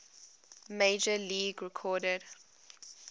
major league record